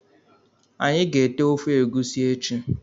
Anyị ga- ete ofe egwusi echi